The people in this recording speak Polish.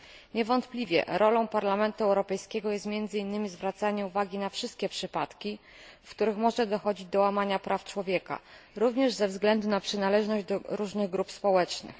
Niewątpliwie rolą Parlamentu Europejskiego jest, między innymi, zwracanie uwagi na wszystkie przypadki, w których może dochodzić do łamania praw człowieka, również ze względu na przynależność do różnych grup społecznych.